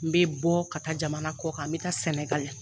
N bɛ bɔ ka taa jamana kɔ kan n bɛ taa SƐNƐGALI.